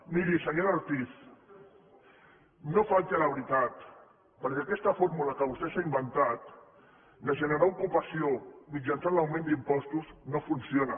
miri senyora ortiz no falti a la veritat perquè aquesta fórmula que vostè s’ha inventat de generar ocupació mitjançant l’augment d’impostos no funciona